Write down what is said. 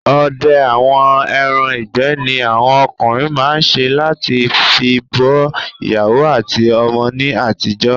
Odẹ àwọn ẹran ìgbẹ́ ni awọn okùnrin máa n se lati fi bọ́ ìyàwó àti ọmọ ní àtijọ́